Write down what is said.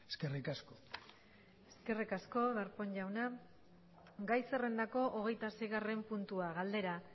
eskerrik asko eskerrik asko darpón jauna gai zerrendako hogeitaseigarren puntua galdera